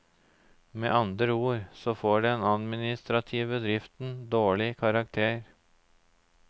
Med andre ord så får den administrative driften dårlig karakter.